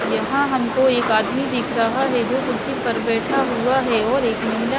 यहां हमको एक आदमी दिख रहा है जो कुर्सी पर बैठा हुआ है और एक महिला--